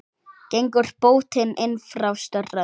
Gengur bótin inn frá strönd.